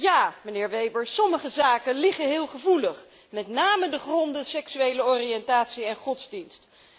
Ja, meneer Weber, sommige zaken liggen heel gevoelig, met name de gronden seksuele oriëntatie en godsdienst.